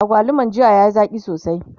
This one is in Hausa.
agwaluman jiya yayi Zaki sosai